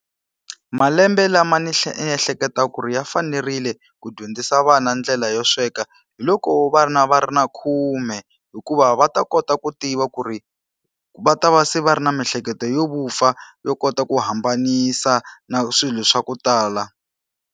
Malembe lama ni ehleketa ku ri ya fanerile ku dyondzisa vana ndlela yo sweka hi loko va ri na va ri na khume. Hikuva va ta kota ku tiva ku ri va ta va se va ri na miehleketo yo vupfa, yo kota ku hambanisa na swilo swa ku tala.